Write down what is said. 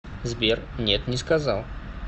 сбер нет не сказал